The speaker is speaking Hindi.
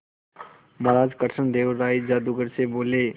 महाराज कृष्णदेव राय जादूगर से बोले